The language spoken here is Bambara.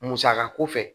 Musaka ko fɛ